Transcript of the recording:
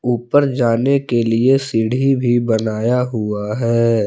ऊपर जाने के लिए सीढ़ी भी बनाया हुआ है।